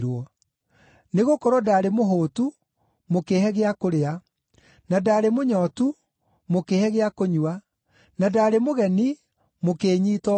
Nĩgũkorwo ndaarĩ mũhũũtu mũkĩĩhe gĩa kũrĩa, na ndaarĩ mũnyootu mũkĩĩhe gĩa kũnyua, na ndaarĩ mũgeni mũkĩĩnyiita ũgeni,